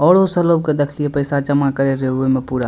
और उ सब लोग के देखिलिय पैसा जमा करे रे उहे में पूरा।